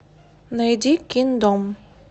найди киндом